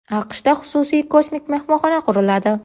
AQShda xususiy kosmik mehmonxona quriladi.